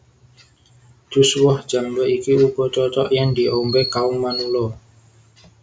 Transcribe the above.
Jus woh jambé iki uga cocok yèn diombé kaum manula